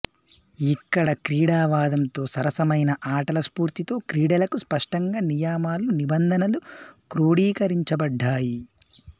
ఇక్కడ క్రీడవాదంతో సరసమైన ఆటల స్పూర్తితో క్రీడలకు స్పష్టంగా నియమాలు నిబంధనలు క్రోడీకరించబడ్డాయి